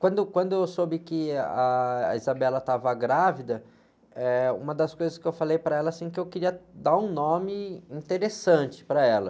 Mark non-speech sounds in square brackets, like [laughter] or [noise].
Quando, quando eu soube que a, a [unintelligible] estava grávida, eh, uma das coisas que eu falei para ela, assim, que eu queria dar um nome interessante para ela.